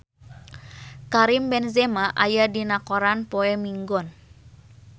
Karim Benzema aya dina koran poe Minggon